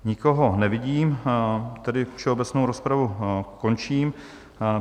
Nikoho nevidím, tedy všeobecnou rozpravu končím.